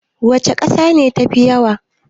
Wace kasa ce tafi yawa?